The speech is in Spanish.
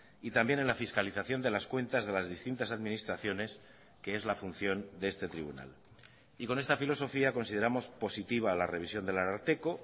y también en la fiscalización de las cuentas de las distintas administraciones que es la función de este tribunal y con esta filosofía consideramos positiva la revisión del ararteko